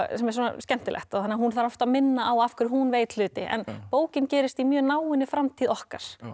sem er svona skemmtilegt þannig að hún þarf oft að minna á af hverju hún veit hluti en bókin gerist í mjög náinni framtíð okkar